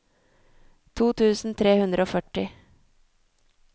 to tusen tre hundre og førti